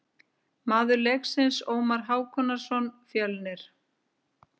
Maður leiksins: Ómar Hákonarson, Fjölnir.